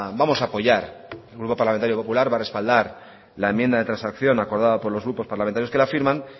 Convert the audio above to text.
vamos a apoyar el grupo parlamentario popular va a respaldar la enmienda de transacción acordada por los grupos parlamentarios que la firman